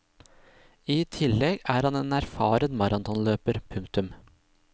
I tillegg er han en erfaren maratonløper. punktum